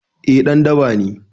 Eh ɗan daba ne